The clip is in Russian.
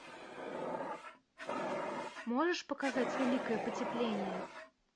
можешь показать великое потепление